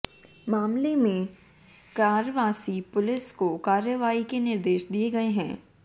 मामले में क्वार्सी पुलिस को कार्रवाई के निर्देश दिए गए हैं